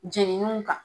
Jeniniw kan